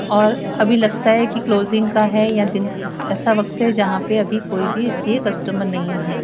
और अभी लगता है की क्लोजिंग का है या दिन ऐसा वक्त है जहां पे अभी कोई भी इसलिए कस्टमर नहीं है।